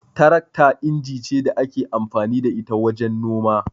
Tarakta inji ce da ake amfani da ita wajen noma.